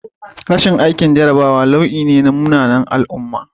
Rashin aikin jarrabawa wani nau'i ne na munanan al'umma